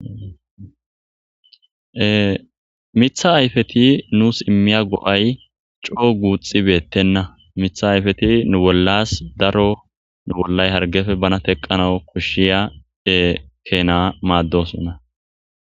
Ee miththa ayfethi nus immiya go7ay coo guuxxi beeththenna;miththa ayfethi nu bollaas daro nu bollay hargepe bana theqqanawu koshshiya ee keenaa maaddoosona.